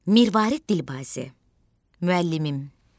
Mirvarid Dilbazi, Müəllimim.